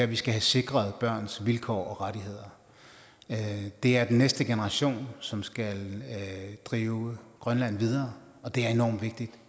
vi skal have sikret børns vilkår og rettigheder det er den næste generation som skal drive grønland videre og det er enormt vigtigt